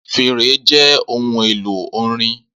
Fèrè jẹ ohun elo orin.